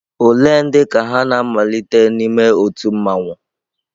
Ole ndị ka ha na-amalite n'ime otu mmanwu?